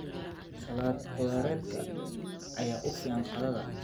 Salad khudradeed ayaa u fiican qadada.